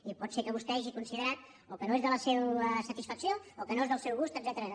i pot ser que vostè hagi considerat o que no és de la seva satisfacció o que no és del seu gust etcètera